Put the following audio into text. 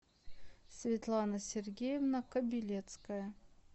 светлана сергеевна кобелецкая